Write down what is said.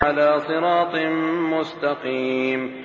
عَلَىٰ صِرَاطٍ مُّسْتَقِيمٍ